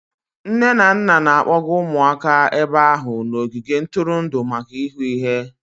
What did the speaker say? Nne na nna na-akpọga ụmụaka ebe ahụ n'ogige ntụrụndụ maka ịhụ ihe.